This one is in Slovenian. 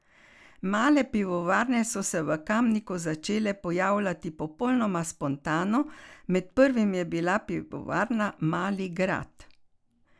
Male pivovarne so se v Kamniku začele pojavljati popolnoma spontano, med prvimi je bila pivovarna Mali Grad.